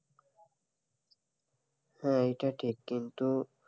হ্যাঁ, এটা ঠিক কিন্তু,